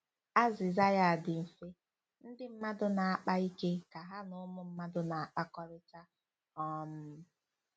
Azịza ya dị mfe: Ndị mmadụ na-akpa ike ka ha na ụmụ mmadụ na- akpakọrịta um.